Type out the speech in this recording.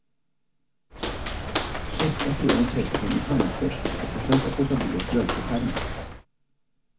Tvätta sedan kepsen i handtvätt och försök att låta bli att blöta skärmen.